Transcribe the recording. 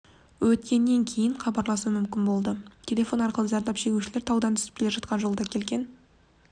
өткеннен кейін хабарласу мүмкін болды телефон арқылы зардап шегушілер таудан түсіп келе жатқан жолда келген